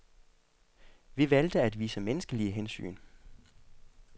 Vi valgte at vise menneskelige hensyn.